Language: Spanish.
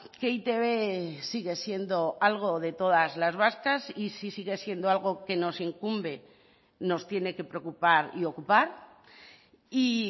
que e i te be sigue siendo algo de todas las vascas y si sigue siendo algo que nos incumbe nos tiene que preocupar y ocupar y